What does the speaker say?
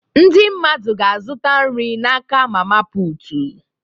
Ndị mmadụ ga-azụta nri n'aka mama putu